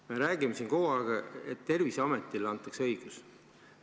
Me räägime siin kogu aeg, et Terviseametile antakse õigusi.